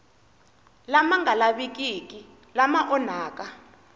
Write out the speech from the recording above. lama nga lavikiki lama onhaka